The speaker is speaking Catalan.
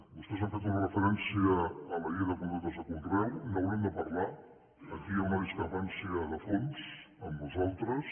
vostès han fet una referència a la llei de contractes de conreu n’haurem de parlar aquí hi ha una discrepància de fons amb nosaltres